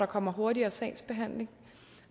kommer hurtigere sagsbehandling